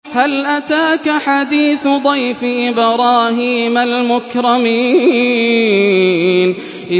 هَلْ أَتَاكَ حَدِيثُ ضَيْفِ إِبْرَاهِيمَ الْمُكْرَمِينَ